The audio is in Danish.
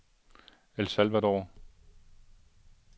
El Salvador